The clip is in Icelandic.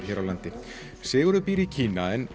hér á landi Sigurður býr í Kína en